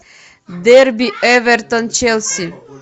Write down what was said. дерби эвертон челси